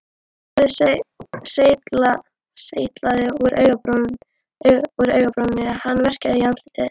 Blóðið seytlaði úr augabrúninni, hann verkjaði í andlitið.